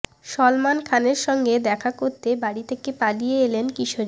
সলমান খানের সঙ্গে দেখা করতে বাড়ি থেকে পালিয়ে এলেন কিশোরী